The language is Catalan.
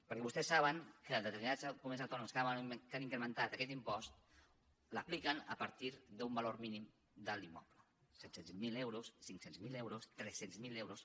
perquè vostès saben que determinades comunitats autònomes que han incrementat aquest impost l’apliquen a partir d’un valor mínim de l’immoble set cents miler euros cinc cents miler euros tres cents miler euros